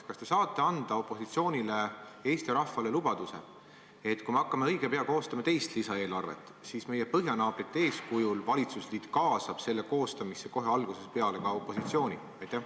Kas te saate anda opositsioonile ja Eesti rahvale lubaduse, et kui me hakkame õige pea koostama teist lisaeelarvet, siis meie põhjanaabrite eeskujul valitsusliit kaasab selle koostamisse kohe algusest peale ka opositsiooni?